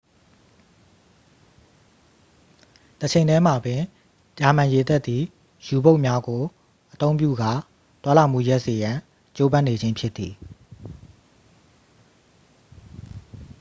တချိန်ထဲမှာပင် ဂျာမန်ရေတပ်သည် ယူဘုတ်များကို အသုံးပြုကာ သွားလာမှုရပ်စေရန်ကြိုးပမ်းနေခြင်းဖြစ်သည်